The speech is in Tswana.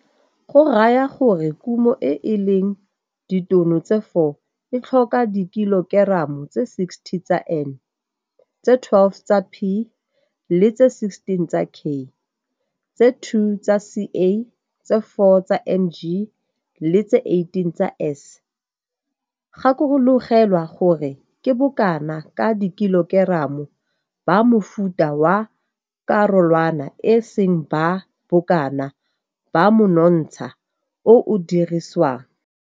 Go raya gore kumo e e leng ditono tse 4 e tlhoka dikilokeramo tse 60 tsa N, tse 12 tsa P le tse 16 tsa K, tse 2 tsa Ca, tse 4 tsa Mg le tse 18 tsa S. Gakologelwa gore ke bokana ka dikilokeramo ba mofuta wa karolwana e seng ba bokana ba monontsha o o diriswang.